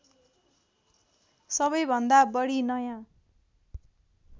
सबैभन्दा बढी नयाँ